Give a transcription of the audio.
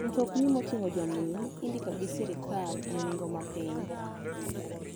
Mtokni mating'o jominy indiko gi sirkal e nengo mapiny.